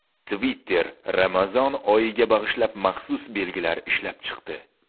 Twitter Ramazon oyiga bag‘ishlab maxsus belgilar ishlab chiqdi.